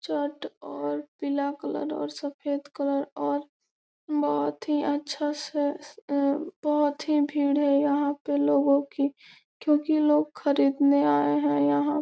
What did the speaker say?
और पीला कलर और सफेद कलर और बहुत ही अच्छा से उम बहुत ही भीड़ है यहाँ पे लोगो की क्योंकि लोग खरीदने आए हैं यहाँ --